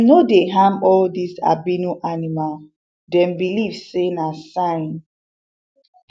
dem no dey harm all this albino animal dem beleive sey na sign